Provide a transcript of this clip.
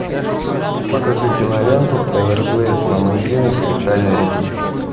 покажи киноленту эверглейдс ламантины кристальной реки